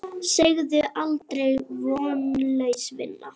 Segðu aldrei: Vonlaus vinna!